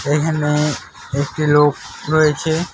এখানে একটি লোক রয়েছে।